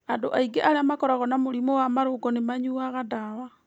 Andũ aingĩ arĩa makoragwo na mũrimũ wa marũngo nĩmanyuaga ndawa